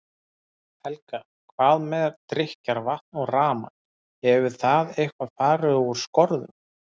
Helga: Hvað með drykkjarvatn og rafmagn, hefur það eitthvað fari úr skorðum?